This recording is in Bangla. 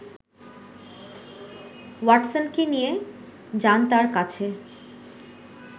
ওয়াটসনকে নিয়ে যান তাঁর কাছে